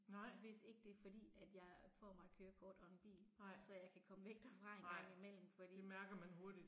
Nej. Nej. Nej det mærker man hurtigt